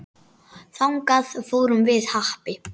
Þangað fórum við Happi.